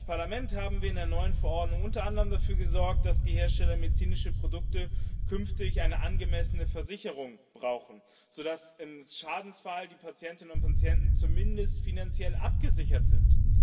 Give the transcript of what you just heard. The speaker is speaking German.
Als Parlament haben wir in der neuen Verordnung unter anderem dafür gesorgt, dass die Hersteller medizinischer Produkte künftig eine angemessene Versicherung brauchen, sodass im Schadensfall die Patientinnen und Patienten zumindest finanziell abgesichert sind.